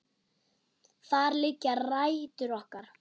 Þar liggja rætur okkar.